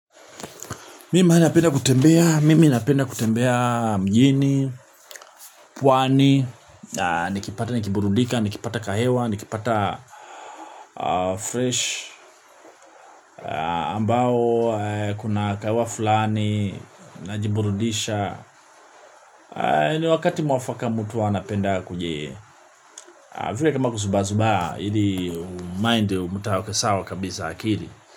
Mi maala napenda kutembea, mimi napenda kutembea mjini, pwani, nikipata, nikiburudika, nikipata kahewa, nikipata fresh, ambao kuna kahewa fulani, najiburudisha. Ni wakati mwafaka mutu hua anapenda kuji, vile kama kuzubaa zubaa ili umind mtuaweke sawa kabisa akili.